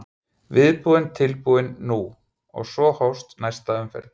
Viðbúinn, tilbúinn- nú! og svo hófst næsta umferð.